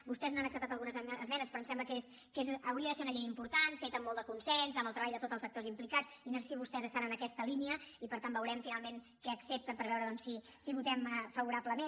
vostès no han acceptat algunes esmenes però em sembla que és hauria de ser una llei important feta amb molt de consens amb el treball de tot els actors implicats i no sé si vostès estan en aquesta línia i per tant veurem finalment què accepten per veure doncs si hi votem favorablement